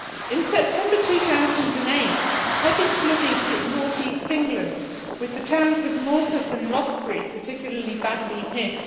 In September 2008, heavy flooding hit north east England, with the towns of Morpeth and Rothbury particularly badly hit.